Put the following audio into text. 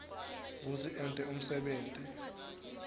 kutsi ente umsebenti